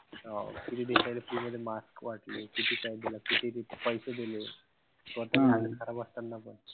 हो. बाकीचे देशाला पुरे ते mask वाटले. किती पैसे देले. स्वतः हालत खराब असताना पण.